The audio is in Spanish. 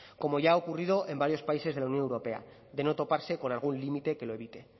como ya ha ocurrido en varios países de la unión europa de no toparse con algún límite que lo evite